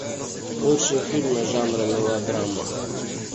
лучшие фильмы жанра мелодрама